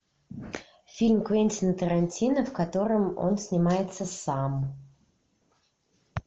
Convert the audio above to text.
фильм квентина тарантино в котором он снимается сам